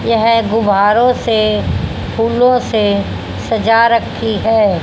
यह गुब्बारों से फूलों से सजा रखी है।